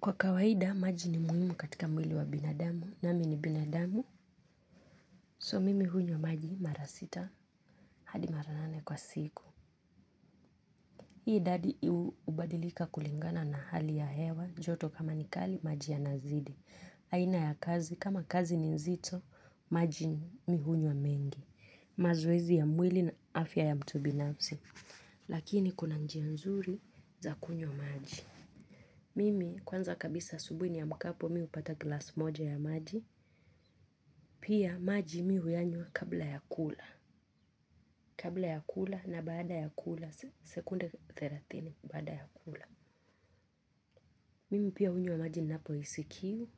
Kwa kawaida maji ni muhimu kwa mwili ya binadamu nami ni binadamu so mimi hunywa maji mara sita hadi mara nane kwa siku hii idadi hubadilika kulingana na hali ya hewa joto kama ni kali maji huzidi. Aina ya kazi, kama kazi ni nzito, maji mimi hunywa mengi. Mazoezi ya mwili na afya ya mtu binafsi lakini kuna njia nzuri za kunywa maji mimi kwanza asubuhi niamkapo kwanza hupata glasi moja ya maji. Pia maji mimi huyanywa kabla ya kula. Kabla ya kula na baada ya kula sekunde thelathini baada ya kula. Mimi pia hunywa maji ninapohisi kiu.